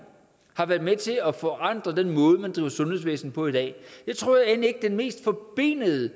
har været med til at forandre den måde man driver sundhedsvæsen på i dag det tror jeg end ikke at det mest forbenede